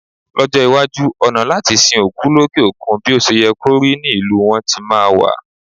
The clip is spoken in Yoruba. Lọ́jọ́ iwájú, ọ̀nà láti sin òkú lókè òkun bí o ṣe yẹ kó rí ní ìlú wọn tí máa wà.